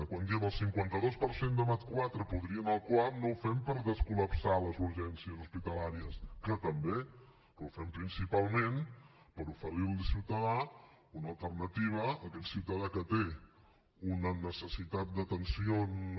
quan diem el cinquanta dos per cent de mat iv podria anar al cuap no ho fem per descol·lapsar les urgències hospitalàries que també però ho fem principalment per oferir li al ciutadà una alternativa a aquest ciutadà que té una necessitat d’atenció no